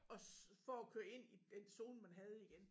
Og for at køre ind i den zone man havde igen